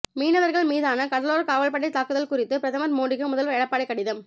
மீனவர்கள் மீதான கடலோர காவல்படை தாக்குதல் குறித்து பிரதமர் மோடிக்கு முதல்வர் எடப்பாடி கடிதம்